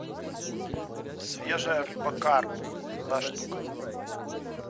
свежая рыба карп одна штука